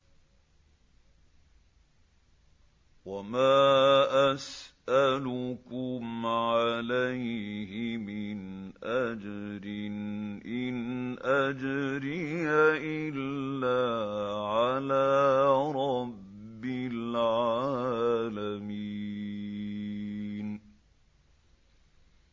وَمَا أَسْأَلُكُمْ عَلَيْهِ مِنْ أَجْرٍ ۖ إِنْ أَجْرِيَ إِلَّا عَلَىٰ رَبِّ الْعَالَمِينَ